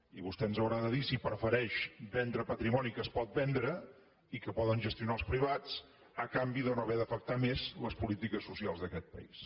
i vostè ens haurà de dir si prefereix vendre patrimoni que es pot vendre i que poden gestionar els privats a canvi de no haver d’afectar més les polítiques socials d’aquest país